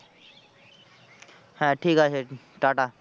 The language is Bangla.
হ্যাঁ, ঠিক আছে টাটা।